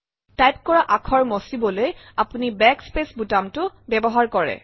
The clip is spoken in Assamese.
টাইপ কৰা আখৰ মচিবলৈ আপুনি বেক স্পেচ বুটামটো ব্যৱহাৰ কৰে